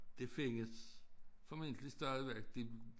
Det findes formentlig stadigvæk de